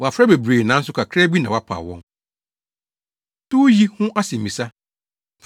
“Wɔafrɛ bebree, nanso kakraa bi na wɔpaw wɔn.” Towyi Ho Asɛmmisa